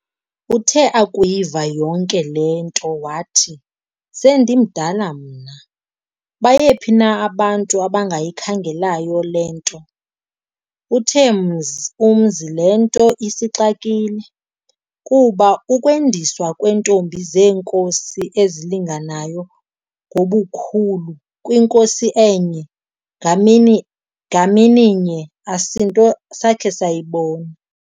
Uthe akuyiva yonke le nto wathi, "sendimdala mna, bayephi na abantu abangayikhangelayo le nto.". Uthe umzi le nto isixakile, kuba ukwendiswa kweentombi zeenkosi ezilinganayo ngobukhulu kwinkosi enye, ngamini ngamininye, asinto sakhe sayibona.